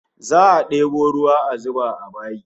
Za'a debo ruwa a zuba a bayi